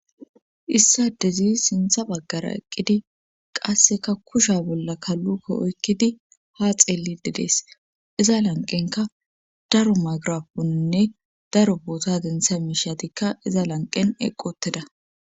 issa dezi sintha baggara eqqidi qasseka kusha bolla kalluko oykkidi ha xeeli dedees iza lanqenka daro magraponinne daro boota dentha miishatikka iza lanqen eqqoteda